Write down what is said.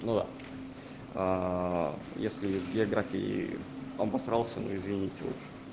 но если с географией обосрался ну извините в общем